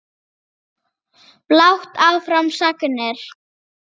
Blátt áfram sagnir.